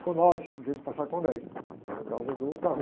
com nove, em vez de passar com dez, por causa do.